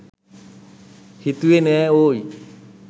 හිතුවෙ නෑ ඕයි